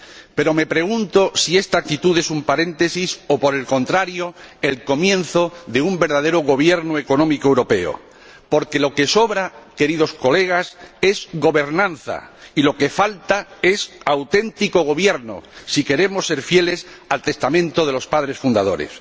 Pero me pregunto si esta actitud es un paréntesis o, por el contrario, el comienzo de un verdadero gobierno económico europeo, porque lo que sobra, queridos colegas, es gobernanza, y lo que falta es auténtico gobierno, si queremos ser fieles al testamento de los padres fundadores.